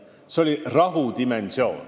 Eesmärk oli tagada rahu.